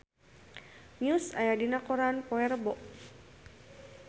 Muse aya dina koran poe Rebo